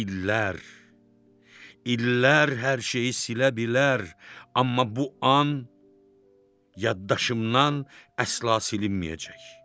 İllər, illər hər şeyi silə bilər, amma bu an yaddaşımdan əsla silinməyəcək.